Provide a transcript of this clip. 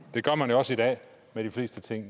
det gør man jo også i dag med de fleste ting